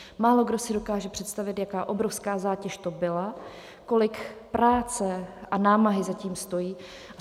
Málokdo si dokáže představit, jaká obrovská zátěž to byla, kolik práce a námahy za tím stojí.